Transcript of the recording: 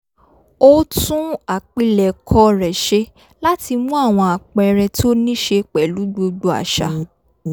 ó tún àpilẹ̀kọ rẹ̀ ṣe láti mú àwọn àpẹẹrẹ tó níṣe pẹ̀lú gbogbo àṣà